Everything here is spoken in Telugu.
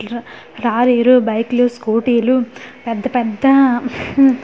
ర రారీలు బైక్ లు స్కూటీ లు పెద్ద-పెద్ద హుహ్మ్ --